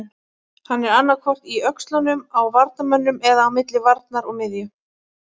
Hann er annaðhvort í öxlunum á varnarmönnunum eða á milli varnar og miðju.